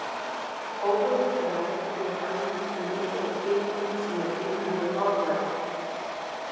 Hófurinn fær næringu úr æðum sem liggja í kvikunni sem er innan við hornlagið.